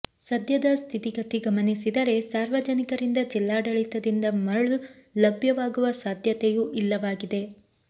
ಸದ್ಯದ ಸ್ಥಿತಿಗತಿ ಗಮನಿಸಿದರೆ ಸಾರ್ವಜನಿಕರಿಂದ ಜಿಲ್ಲಾಡಳಿತದಿಂದ ಮರಳು ಲಭ್ಯವಾಗುವ ಸಾಧ್ಯತೆಯೂ ಇಲ್ಲವಾಗಿದೆ